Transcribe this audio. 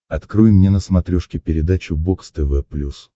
открой мне на смотрешке передачу бокс тв плюс